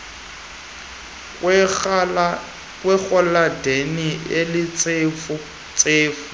kwerhaladeni elintsefu ntsefu